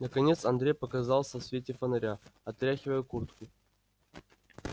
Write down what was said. наконец андрей показался в свете фонаря отряхивая куртку